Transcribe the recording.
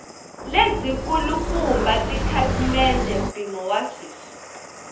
lebyikulukumba tikhasimende mpimo wa sweswi